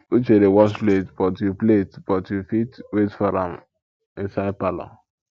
uche dey wash plate but you plate but you fit wait for am inside parlour